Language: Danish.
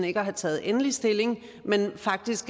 ikke at have taget endelig stilling men jeg vil faktisk